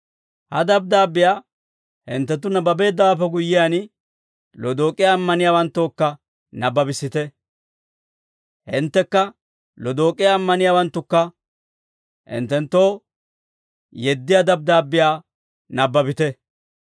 Ha dabddaabbiyaa hinttenttu nabbabeeddawaappe guyyiyaan, Lodook'iyaa ammaniyaawanttookka nabbabissite; hinttekka Lodook'iyaa ammaniyaawanttukka hinttenttoo yeddiyaa dabddaabbiyaa nabbabite.